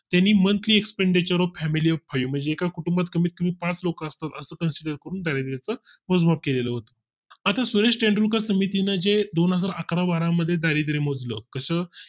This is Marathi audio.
त्यांनी Monthly Expenditure of family म्हणजे एका कुटुंबात कमीत कमी पाच लोक असतात असं consider करून दारिद्याच मोजमाप केलेलं होत आता सुरेश तेंडुलकर समिती जे दोनहजार अकरा बारा मध्ये दारिद्र मोजलं मोज लं कस